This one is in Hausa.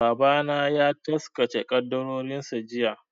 Babana ya taskace ƙaddarorinsa jiya.